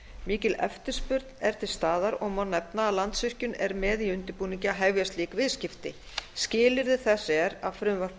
mikil eftirspurn er til staðar og má nefna að landsvirkjun er með í undirbúningi að hefja slík viðskipti skilyrði þess er að frumvarp